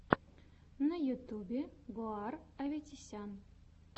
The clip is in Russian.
на ютьюбе гор аветисян